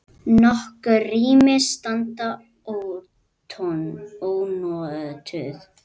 Nokkur rými standa ónotuð.